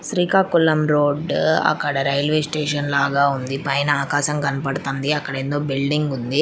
Srikakulam road అక్కడ railway station లాగా ఉంది పైన ఆకాశం కనబడుతోంది. అక్కడేందొ బిల్డింగ్ ఉంది.